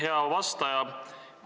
Hea vastaja!